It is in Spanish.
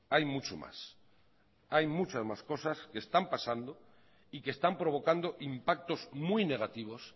hay mucho más hay muchas más cosas que están pasando y que están provocando impactos muy negativos